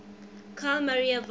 carl maria von